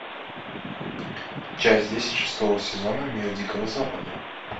часть десять шестого сезона мир дикого запада